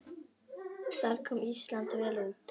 Þar kom Ísland vel út.